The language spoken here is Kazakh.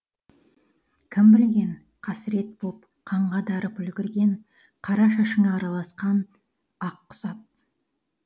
кім білген қасірет боп қанға дарып үлгірген қара шашыңа араласқан ақ құсап